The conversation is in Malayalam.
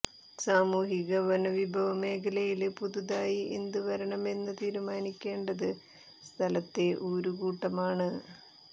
സാമൂഹിക വനവിഭവ മേഖലയില് പുതുതായി എന്ത് വരണമെന്ന് തീരുമാനിക്കേണ്ടത് സ്ഥലത്തെ ഊരുകൂട്ടമാണ്